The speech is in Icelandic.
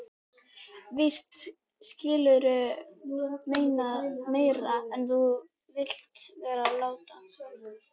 Víst skilurðu meira en þú vilt vera láta.